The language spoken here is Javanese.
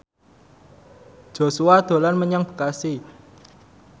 Joshua dolan menyang Bekasi